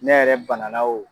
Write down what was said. Ne yɛrɛ bana na o